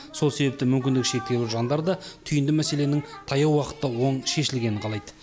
сол себепті мүмкіндік шектеулі жандар да түйінді мәселенің таяу уақытта оң шешілгенін қалайды